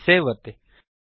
save ಒತ್ತಿ